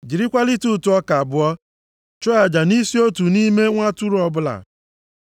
jirikwa lita ụtụ ọka abụọ chụọ aja nʼisi otu nʼime nwa atụrụ ọbụla.